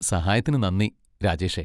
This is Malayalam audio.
സഹായത്തിന് നന്ദി, രാജേഷേ.